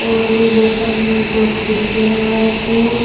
और इधर साइड में दो खिड़कियां लगा रखी हैं।